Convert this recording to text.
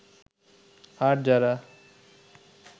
আর যারা